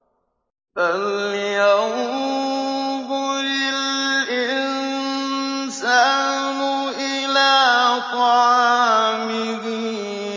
فَلْيَنظُرِ الْإِنسَانُ إِلَىٰ طَعَامِهِ